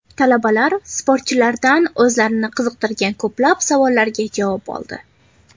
Talabalar sportchilardan o‘zlarini qiziqtirgan ko‘plab savollarga javob oldi.